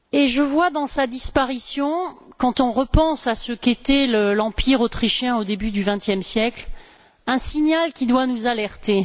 Je vois dans sa disparition quand on repense à ce qu'était l'empire autrichien au début du vingtième siècle un signal qui doit nous alerter.